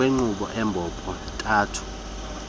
ngokwenkqubo embombo ntathu